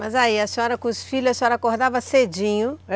Mas aí, a senhora, com os filhos, acordava cedinho.